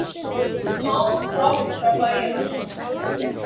Sám brott frá bæjarhúsum.